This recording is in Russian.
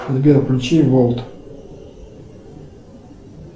сбер включи волт